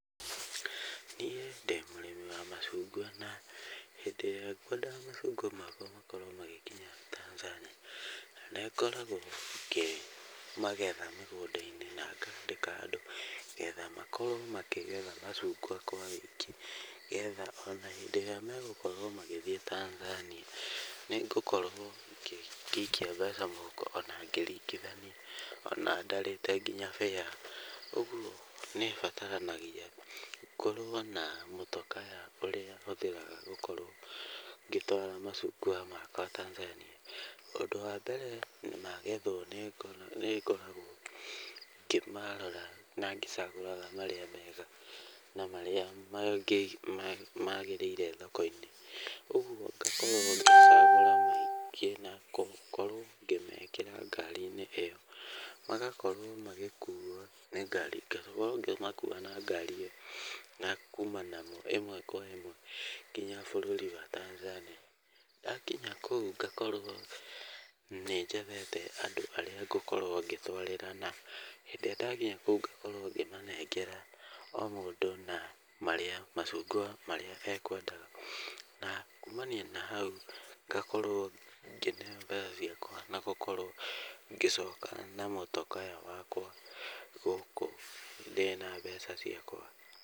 Niĩ ndĩ mũrĩmi wa macungwa na hĩndĩ ĩrĩa ngwenda macungwa makwa makorwo magĩkinya Tanzania, nĩ ngoragwo ngĩgetha mĩgũnda-inĩ na ngaandĩka andũ getha makorwo macungwa kwa ũingĩ. Getha ona hĩndĩ ĩrĩa megũkorwo magĩthiĩ Tanzania nĩ ngũkorwo ngĩikia mbeca mũhuko ona ngĩringithania ona ndarĩte nginya fare. Ũguo nĩ ũbataranagia ngorwo na motor car ya ũrĩa hũthĩraga gũkorwo ngĩtwara macungwa Tanzania. Ũndũ wa mbere magethwo nĩ ngoragwo ngĩmarora ngĩcagũraga marĩa mega na marĩa maagĩrĩire thoko-inĩ. Ũguo ngakorwo ngĩcagũra maingĩ na gũkorwo ngĩmekĩra ngari-inĩ ĩyo. Magakorwo magĩkuo nĩ ngari ngakorwo ngĩmakua na ngari ĩyo na kuuma namo ĩmwe kwa ĩmwe nginya bũrũri wa Tanzania. Ndakinya kũu ngakorwo nĩ njethete andũ arĩa ngũkorwo ngĩtũarĩra na hĩndĩ ĩrĩa ndakinya kũu ngakorwo ngĩmanengera o mũndũ na marĩa macungwa marĩa ekwendaga. Na kuumania na hau ngakorwo ngĩneo mbeca ciakwa na gũkorwo ngĩcoka na motor car wakwa gũkũ ndĩna mbeca ciakwa.